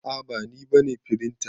A'a ba ni bane firinta.